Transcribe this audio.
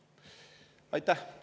Aitäh!